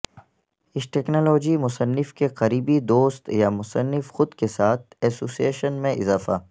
اس technology مصنف کے قریبی دوست یا مصنف خود کے ساتھ ایسوسی ایشن میں اضافہ